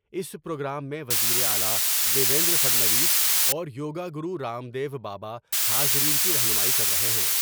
اس programme میں وزیر اعلی دیویندر فڈنویس اور yoga guru Ramdev Baba حاضرین کی رہنمائی کر رہے ہیں ۔